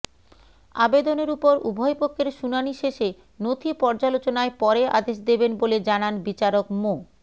আবেদনের ওপর উভয়পক্ষের শুনানি শেষে নথি পর্যালোচনায় পরে আদেশ দেবেন বলে জানান বিচারক মো